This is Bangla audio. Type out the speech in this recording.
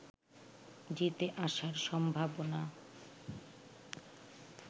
জিতে আসার সম্ভাবনা